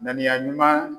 Ŋaniya ɲuman